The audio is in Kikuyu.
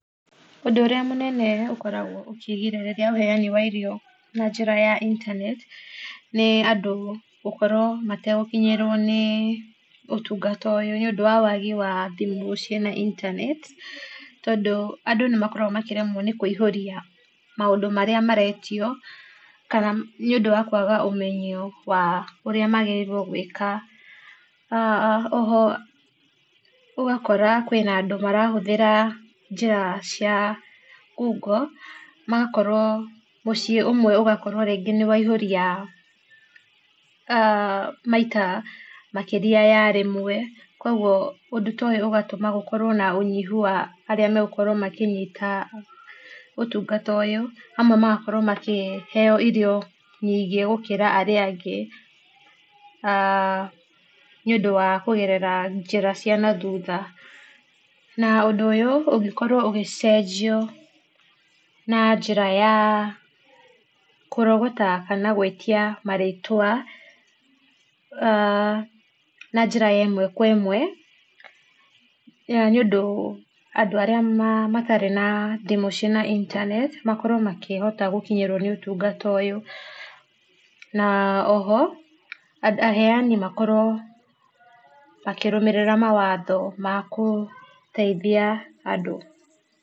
Ũndũ ũrĩa mũnene ũkoragwo ũkĩgirĩrĩria ũheani wa irio na njĩra ya internet, nĩ andũ gũkorwo mategũkinyĩrwo nĩ ũtungata ũyũ, nĩũndũ wa wagi wa thimũ ciĩna internet, tondũ andũ nĩmakoragwo makĩremwo nĩ kũihũria maũndũ marĩa maretio, kana nĩũndũ wa kwaga ũmenyo wa ũrĩa magĩrĩirwo gũĩka. Oho ũgakora kwĩna andũ marahũthĩra njĩra cia ngungo, magakorwo mũciĩ ũmwe ũgakorwo rĩngĩ nĩ waihũria maita makĩria ya rĩmwe, kuoguo ũndũ ta ũyũ ũgatũma gũkorwo na ũnyihu wa arĩa megũkorwo makĩnyita ũtungata ũyũ. Amwe magakorwo makĩheo irio nyingĩ gũkĩra arĩa angĩ nĩũdũ wa kũgerera njĩra cia na thutha. Na, ũndũ ũyũ ũngĩkorwo ũgĩcenjio na njĩra ya kũrogata kana gwĩtia marĩtwa na njĩra ya ĩmwe kwa ĩmwe, nĩũndũ andũ arĩa matarĩ na thimũ ciĩna internet makorwo makĩhota gĩkinyĩrwo nĩ ũtungata ũyũ, na oho aheani makorwo makĩrũmĩrĩra mawatho makũteithia andũ.